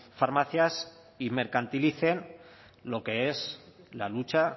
farmacias y mercantilicen lo que es la lucha